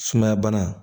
Sumaya bana